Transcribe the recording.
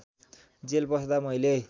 jail बस्दा मैले